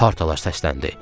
Partalar səsləndi.